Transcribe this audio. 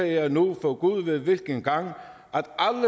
jeg nu for gud ved hvilken gang